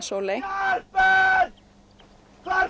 Sóley hvar